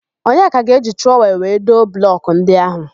Onyeka ga-eji trọwel wee doo blọkụ ndị áhụ̀.